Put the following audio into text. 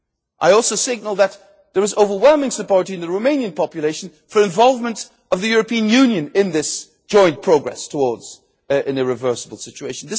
asset. I also see that there is overwhelming support in the Romanian population for the involvement of the European Union in this joint progress towards an irreversible situation.